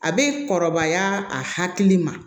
A bɛ kɔrɔbaya a hakili ma